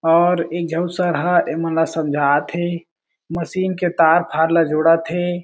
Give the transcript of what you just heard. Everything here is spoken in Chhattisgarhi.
और एक झन सर ह ए मन ल समझात हे मशीन के तार-फार ल जोड़त हें।